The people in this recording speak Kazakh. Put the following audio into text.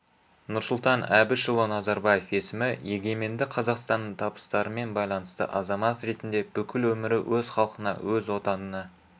нұрсұлтан әбішұлы назарбаев есімі егеменді қазақстанның табыстарымен байланысты азамат ретінде бүкіл өмірі өз халқына өз отанына